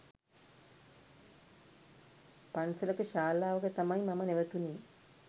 පන්සලක ශාලාවක තමයි මම නැවතුනේ